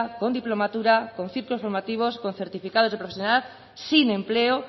con diplomatura con ciclos formativos con certificados de profesionalidad sin empleo